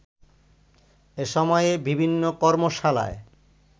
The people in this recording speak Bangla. এ সময়ে বিভিন্ন কর্মশালায়